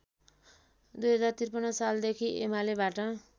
२०५३ सालदेखि एमालेबाट